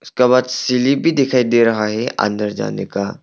सीली भी दिखाई दे रहा है अंदर जाने का।